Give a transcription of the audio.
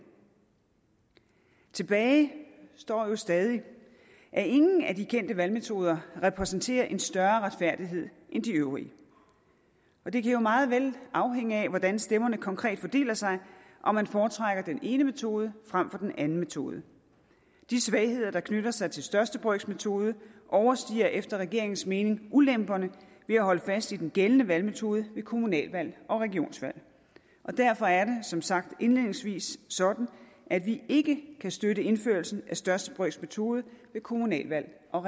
tilbage står jo stadig at ingen af de kendte valgmetoder repræsenterer en større retfærdighed end de øvrige og det kan meget vel afhænge af hvordan stemmerne konkret fordeler sig om man foretrækker den ene metode frem for den anden metode de svagheder der knytter sig til den største brøks metode overstiger efter regeringens mening ulemperne ved at holde fast i den gældende valgmetode ved kommunalvalg og regionsvalg derfor er det som sagt indledningsvis sådan at vi ikke kan støtte indførelsen af den største brøks metode ved kommunalvalg og